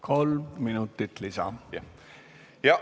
Kolm minutit lisaaega.